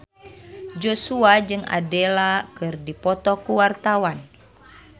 Joshua jeung Adele keur dipoto ku wartawan